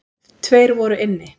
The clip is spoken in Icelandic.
Tveir voru inni.